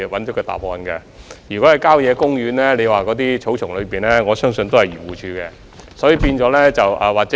如果車輛被棄置在郊野公園的草叢裏，我相信該由漁農自然護理署負責。